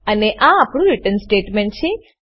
અને આ આપણું રીટર્ન સ્ટેટમેંટ છે